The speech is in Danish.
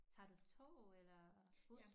Tager du tog eller bus